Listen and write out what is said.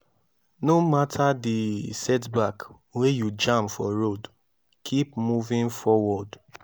no mata di setback wey you jam for road kip moving forward